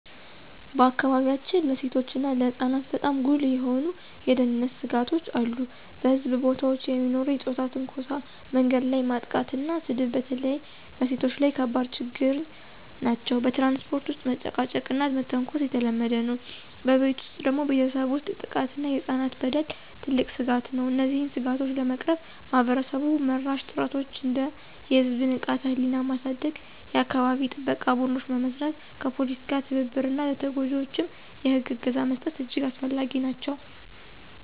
በአካባቢያችን ለሴቶችና ለህፃናት በጣም ጉልህ የሆኑ የደህንነት ስጋቶች አሉ። በሕዝብ ቦታዎች የሚኖሩ የፆታ ትንኮሳ፣ መንገድ ላይ ማጥቃትና ስድብ በተለይ በሴቶች ላይ ከባድ ችግኝ ናቸው። በትራንስፖርት ውስጥ መጨቃጨቅና መተንኮስ የተለመደ ነው። በቤት ውስጥ ደግሞ ቤተሰብ ውስጥ ጥቃት እና የህፃናት በደል ትልቅ ስጋት ነው። እነዚህን ስጋቶች ለመቅረፍ ማህበረሰብ-መራሽ ጥረቶች እንደ የህዝብ ንቃተ-ህሊና ማሳደግ፣ የአካባቢ ጥበቃ ቡድኖች መመስረት፣ ከፖሊስ ጋር ትብብር እና ለተጎጂዎች የህግ እገዛ መስጠት እጅግ አስፈላጊ ናቸው።